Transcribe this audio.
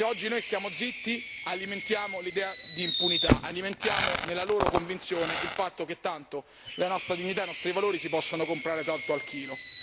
Se oggi noi stiamo zitti alimentiamo l'idea di impunità, alimentiamo nella loro convinzione il fatto che tanto la nostra dignità, i nostri valori si possono comprare tanto al chilo.